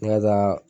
N ka taa